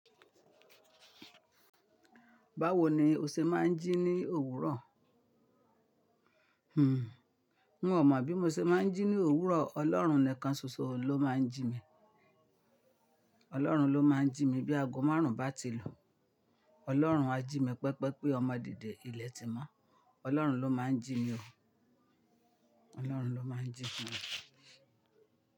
Báwo ni o ṣe máa ń jí ní òwúrọ̀? Hmm, miọ̀ mo bí mo ṣe máa ń jí ní òwúrọ̀. Ọlọ́run nìkan ṣoṣo ló máa ń jí mi. Ọlọ́run ló máa ń jí mi bí aago márùn bá ti lu. Ọlọ́run á jí mi pẹpẹ pé ọmọ dìde ìlẹ̀ tì mọ́. Ọlọ́run ló máa ń jí mi o. Ọlọ́run ló máa ń jí mi.